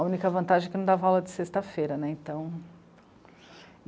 A única vantagem é que não dava aula de sexta-feira né, então.